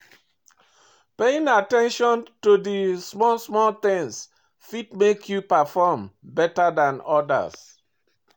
Paying at ten tion to di small small things fit make you perform better than odas